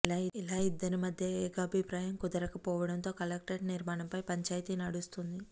ఇలా ఇద్దరి మధ్య ఏకాభిప్రాయం కుదరకపోవడంతో కలెక్టరేట్ నిర్మాణంపై పంచాయితీ నడుస్తోంది